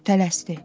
Tələsdi.